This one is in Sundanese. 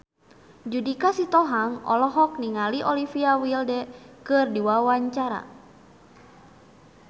Judika Sitohang olohok ningali Olivia Wilde keur diwawancara